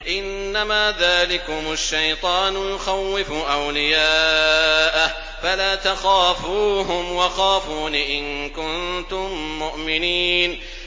إِنَّمَا ذَٰلِكُمُ الشَّيْطَانُ يُخَوِّفُ أَوْلِيَاءَهُ فَلَا تَخَافُوهُمْ وَخَافُونِ إِن كُنتُم مُّؤْمِنِينَ